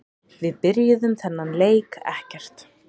Við byrjuðum þennan leik ekkert.